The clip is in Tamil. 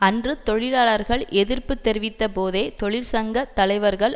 அன்று தொழிலாளர்கள் எதிர்ப்பு தெரிவித்தபோதே தொழிற்சங்க தலைவர்கள்